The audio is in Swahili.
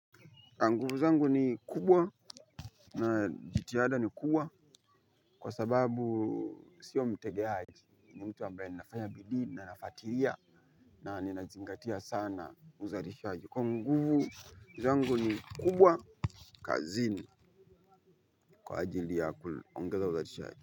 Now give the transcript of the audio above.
Nguvu zangu ni kubwa, na jitihada ni kubwa kwa sababu sio mtegeaji. Mimi ni mtu ambaye nafanya bidii na nafuatilia na ninazingatia sana uzalishaji. Kwa hiyo, guzo yangu ni kubwa kazini kwa ajili ya kuongeza uzalishaji.